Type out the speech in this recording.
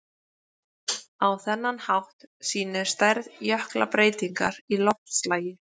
Á þennan hátt sýnir stærð jökla breytingar í loftslagi.